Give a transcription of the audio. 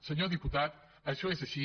senyor diputat això és així